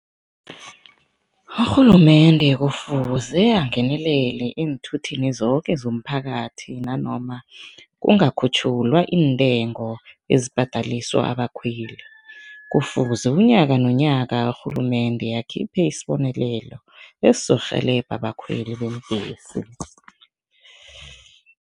Urhulumende kufuze angenelele eenthuthini zoke zomphakathi nanoma kungakhutjhulwa iintengo ezibhadaliswa abakhweli. Kufuze unyaka nonyaka urhulumende akhiphe isibonelelo esizorhelebha abakhweli beembhesi.